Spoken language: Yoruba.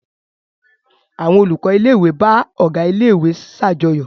Àwọn olùkọ́ ilé-ìwé bá ọ̀gá ilé-ìwé ṣàjọyọ̀.